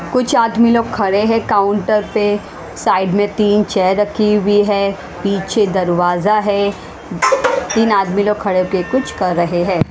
कुछ आदमी लोग खड़े हैं काउंटर पे साइड में तीन चेयर रखी हुई है पीछे दरवाजा है तीन आदमी लोग खड़े हो के कुछ कर रहे हैं।